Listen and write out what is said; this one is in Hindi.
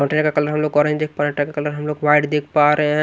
पटरिया का कलर हम लोग ऑरेंज देख पा रहे ट्रक का कलर हम लोग वाइट देख पा रहे --